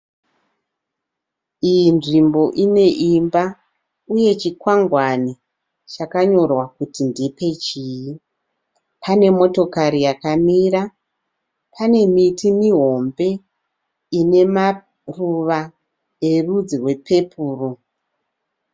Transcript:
Iyi nzvimbo ine imba uye chikwangwane chakanyorwa kuti ndepechii. Pane motokari yakamira. Pane miti mihombe inemaruva erwudzi rwepepuri.